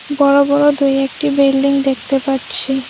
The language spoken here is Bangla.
বড় বড় দু একটি বিল্ডিং দেখতে পাচ্ছি।